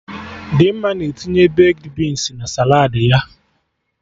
Dimma na-etinye bekdi binsi na saladị ya